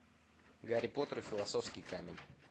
гарри поттер и философский камень